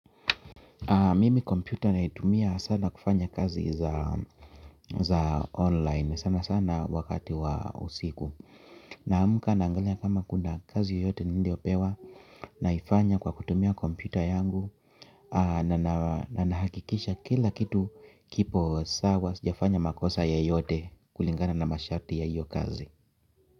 Mimi kompyuta naitumia sana kufanya kazi za online sana sana wakati wa usiku. Naamka naangalia kama kuna kazi yote niliyopewa naifanya kwa kutumia kompyuta yangu. Na nahakikisha kila kitu kipo sawa sijafanya makosa yoyote kulingana na masharti ya iyo kazi.